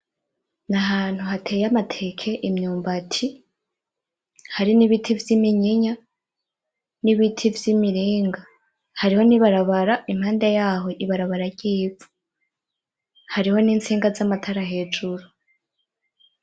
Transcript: Nahantu hateye amateke, imyumbati, hari nibiti vyiminyinya, nibiti vyimirenga. Hari nibarabara impande yaho ibarabara ryivu, hariho nitsinga zamatara hejuru.